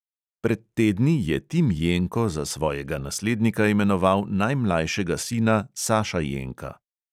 Pred tedni je tim jenko za svojega naslednika imenoval najmlajšega sina saša jenka.